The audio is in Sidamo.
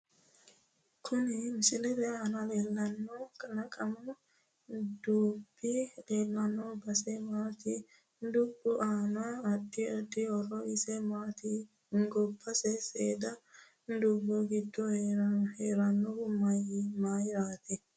kuni misilete aana leelanno kalaqamu dubbi leelanno base mamaati dubbu aano adddi addi horo isi maati gobba saada dubu giddo herdhanohu mayiirati